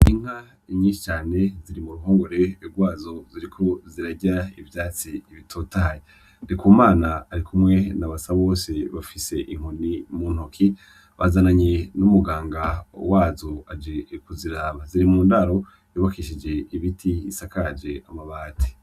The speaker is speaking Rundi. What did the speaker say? Inka nyinshi cane ziri mu ruhongore rwazo ziriko zirarya ivyatsi bitotahaye, Ndikumana arikumwe na Basabose bafise inkoni mu ntoki bazananye n'umuganga wazo ajejwe kuziraba, ziri mu ndaro y'ubakishije ibiti isakaje amabati.